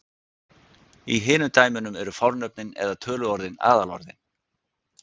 í hinum dæmunum eru fornöfnin eða töluorðin aðalorðin